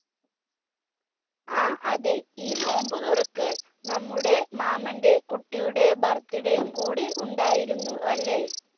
ആ അതെ ഈ നോമ്പ് തുറക്ക് നമ്മുടെ മാമൻറെ കുട്ടിയുടെ birthday ഉം കൂടി ഉണ്ടായിരുന്നു അല്ലെ